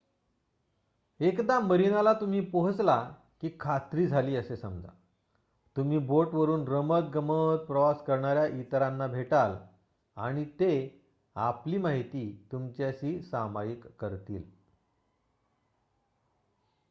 एकदा मरीनाला तुम्ही पोहोचला की खात्री झाली असे समजा तुम्ही बोट वरुन रमतगमत प्रवास करणाऱ्या इतरांना भेटाल आणि ते आपली माहिती तुमच्याशी सामायिक करतील